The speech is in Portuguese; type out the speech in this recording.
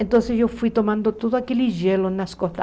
Então eu fui tomando todo aquele gelo nas costas.